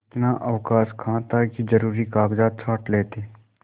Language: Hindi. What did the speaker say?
इतना अवकाश कहाँ था कि जरुरी कागजात छॉँट लेते